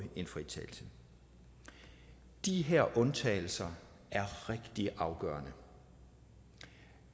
en fritagelse de her undtagelser er rigtig afgørende